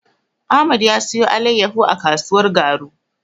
Ahmad ya siyo alaiyahu a kasuwar Garu.